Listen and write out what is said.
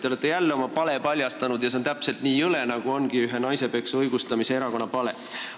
Te olete jälle oma pale paljastanud ja see on täpselt nii jõle, nagu ongi ühe naisepeksu õigustava erakonna pale.